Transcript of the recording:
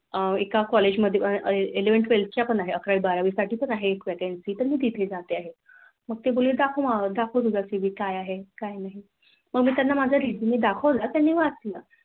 अह एका College मध्ये Eleven Twelth अकरावी बारावी साठी पण आहे एक Vacancy मी तिथे जात आहे. मग ते बोलले दाखव मला दाखव तुझा CV काय आहे काय नाही. मग मी त्यांना माझा Resume दाखवला त्यानी वाचला